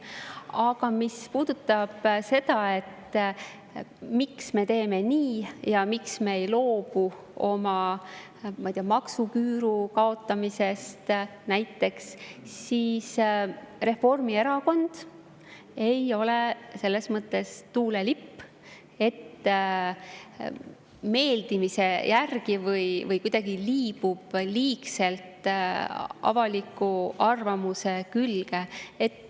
Aga mis puudutab seda, miks me teeme nii ja miks me ei loobu maksuküüru kaotamisest näiteks, siis Reformierakond ei ole selles mõttes tuulelipp, et me meeldimise järgi või kuidagi liibume liigselt avaliku arvamuse külge.